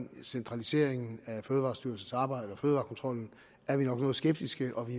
centraliseringen af fødevarestyrelsens arbejde og fødevarekontrollen er vi nok noget skeptiske og vi